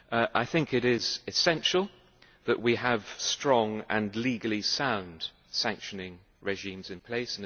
I think it is essential that we have strong and legally sound sanctioning regimes in place.